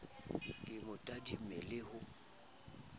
ke mo tadime le ho